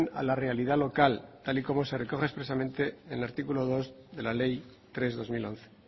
a la realidad local tal y como se recoge expresamente en el artículo dos de la ley tres barra dos mil once